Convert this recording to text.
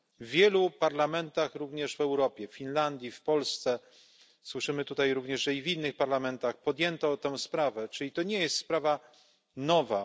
W wielu parlamentach, również w Europie w Finlandii, w Polsce, słyszymy tutaj również, że i w innych parlamentach podjęto tę sprawę, czyli to nie jest sprawa nowa.